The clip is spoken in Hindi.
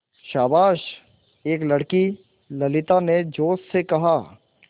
शाबाश एक लड़की ललिता ने जोश से कहा